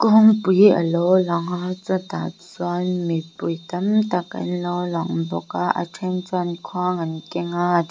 pakawngpui a lo lang a chutah chuan mipui tam tak an lo lang bawk a a then chuan khuang an keng a --